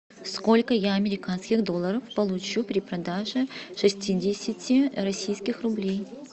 сколько я американских долларов получу при продаже шестидесяти российских рублей